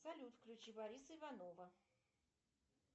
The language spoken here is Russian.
салют включи бориса иванова